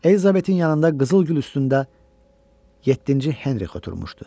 Elizabetin yanında qızıl gül üstündə yeddinci Henrikh oturmuşdu.